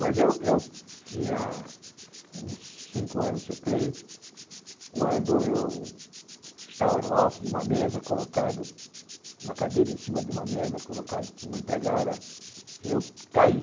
Mas eu eu tinha uns cinco anos, eu creio, quando eu estava no alto de uma mesa, colocado, na cadeira em cima de uma mesa, colocado por uma empregada, e eu caí.